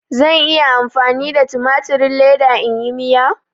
Zan iya amfani da tumatirin leda in yi Miya?